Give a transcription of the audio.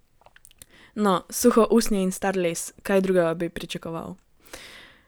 No, suho usnje in star les, kaj drugega bi pričakoval?